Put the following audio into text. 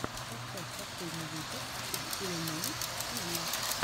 поставь последний выпуск экспиримэнт тиви